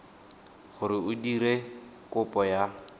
gore o dire kopo ya